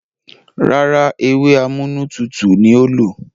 Rárá, ewé amúnútutù ni ó lò.